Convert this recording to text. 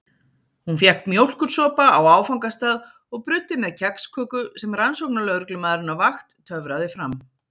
Hún fékk mjólkursopa á áfangastað og bruddi með kexköku sem rannsóknarlögreglumaðurinn á vakt töfraði fram.